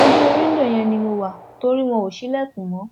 ojú wíńdò yẹn ni mo wá torí wọn ò ṣílẹkùn mọ